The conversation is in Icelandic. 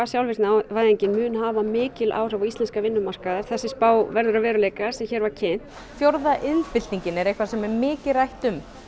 sjálfvirknivæðingin mun hafa mikil áhrif á íslenskan vinnumarkað ef þessi spá verður að veruleika sem hér var kynnt fjórða iðnbyltingin er eitthvað sem hefur mikið rætt um